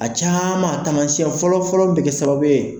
A caman taamasiyɛn fɔlɔ fɔlɔ bɛ kɛ sababu ye.